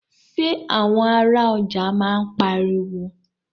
Ṣé àwọn ará ọjà máa ń pariwo.